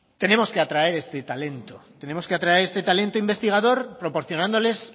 tenemos que atraer ese talento tenemos que atraer ese talento investigador proporcionándoles